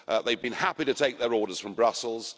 They've been happy to take their orders from Brussels.